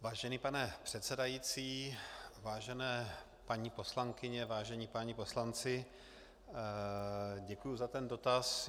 Vážený pane předsedající, vážené paní poslankyně, vážení páni poslanci, děkuji za ten dotaz.